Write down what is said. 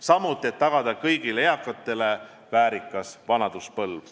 Samuti on vaja tagada kõigile eakatele väärikas vanaduspõlv.